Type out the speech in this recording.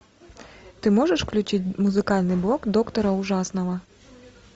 ты можешь включить музыкальный блог доктора ужасного